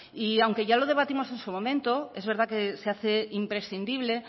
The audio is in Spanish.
y aunque ya lo debatimos en su momento es verdad que se hace imprescindible